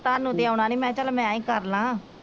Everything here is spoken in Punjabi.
ਤੁਹਾਨੂੰ ਤੇ ਆਉਣਾ ਨਹੀਂ ਮੈ ਕਿਹਾ ਚਲ ਮੈ ਈ ਕਰਲਾ।